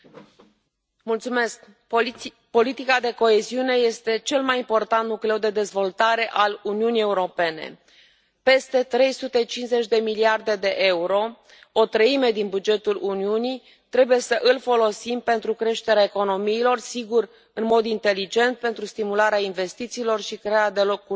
Domnule președinte, politica de coeziune este cel mai important nucleu de dezvoltare al Uniunii Europene. Peste 350 de miliarde de euro, o treime din bugetul Uniunii, trebuie să îl folosim pentru creșterea economiilor, sigur, în mod inteligent, pentru stimularea investițiilor și crearea de locuri de muncă.